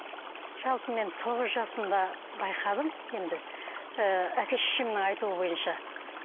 жалпы мен тоғыз жасымда байқадым енді ыыы әке шешемнің айтуы бойынша